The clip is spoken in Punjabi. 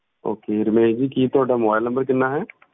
Okay ਰਮੇਸ਼ ਜੀ ਕੀ ਤੁਹਾਡਾ mobile number ਕਿੰਨਾ ਹੈ?